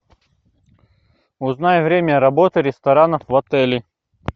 узнай время работы ресторанов в отеле